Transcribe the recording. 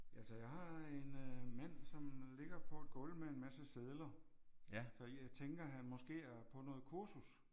Altså jeg har en øh mand som ligger på et gulv med en masse sedler. Så jeg tænker han måske er på noget kursus